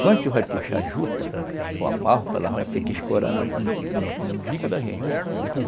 Quando tu vai puxar a juta, ou a malva, ela vai ter que escorar no no umbigo da gente.